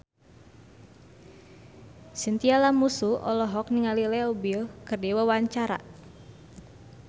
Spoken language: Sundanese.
Chintya Lamusu olohok ningali Leo Bill keur diwawancara